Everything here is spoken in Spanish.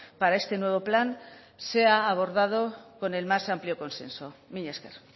para este nuevo plan sea abordado con el más amplio consenso mila esker